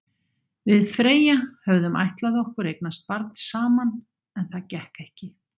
Við Freyja höfðum ætlað okkur að eignast barn saman, en það gekk ekki.